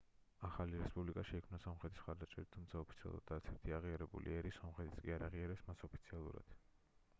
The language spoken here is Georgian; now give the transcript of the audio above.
ახალი რესპუბლიკა შეიქმნა სომხეთის მხარდაჭერით თუმცა ოფიციალურად არც ერთი აღიარებული ერი სომხეთიც კი არ აღიარებს მას ოფიციალურად